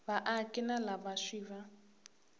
vaaki na lava swi va